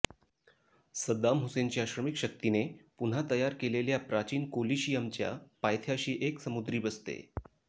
सद्दाम हुसेनच्या श्रमिक शक्तीने पुन्हा तयार केलेल्या प्राचीन कोलीशिअमच्या पायथ्याशी एक समुद्री बसते